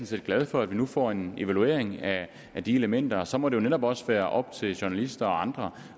set glad for at vi nu får en evaluering af de elementer og så må det jo netop også være op til journalister og andre